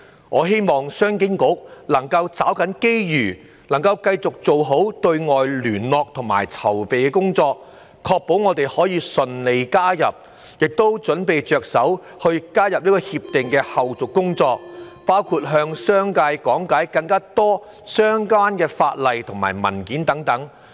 我希望商經局能夠抓緊機遇，繼續做好對外聯絡和籌備工作，確保我們可以順利加入《協定》，並着手準備加入《協定》的後續工作，包括多向商界講解相關法例和文件等。